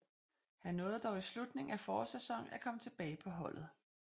Han nåede dog i slutningen af forårssæsonen at komme tilbage på holdet